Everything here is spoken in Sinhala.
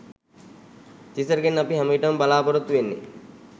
තිසරගෙන් අපි හැම විටම බලාපොරොත්තු වෙන්නෙ